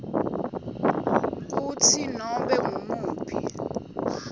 kutsi nobe ngumuphi